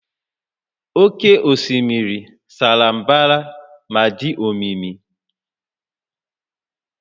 Oké osimiri sara mbara ma dị omimi